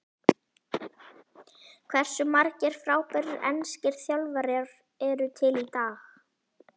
Hversu margir frábærir enskir þjálfarar eru til í dag?